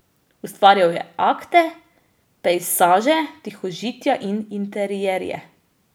Ustvarjal je akte, pejsaže, tihožitja in interierje.